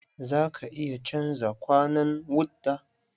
Za ka iya canja kwanan wta?